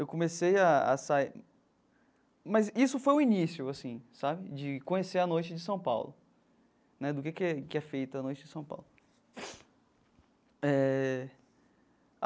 Eu comecei a a sair... Mas isso foi o início assim sabe de conhecer a noite de São Paulo né, do que que é que é feita a noite de São Paulo eh.